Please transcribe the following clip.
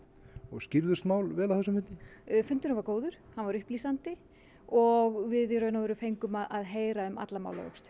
skýrðust mál vel á þessum fundi fundurinn var góður hann var upplýsandi og við í raun og veru fengum að heyra um alla málavöxtu